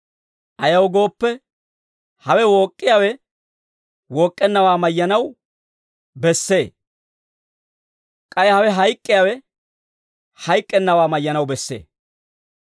Ayaw gooppe, hawe wook'k'iyaawe wook'k'ennawaa mayyanaw bessee; k'ay hawe hayk'k'iyaawe hayk'k'ennawaa mayyanaw bessee.